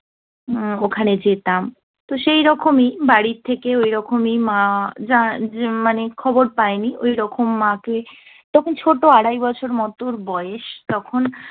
ওখানে যেতাম। তো সেইরকম ই বাড়ির থেকেও এরকম ই মা মানে খবর পায় নি, ওরকম মা কে, তখন ছোট- আড়াই বছর মত বয়েস তখন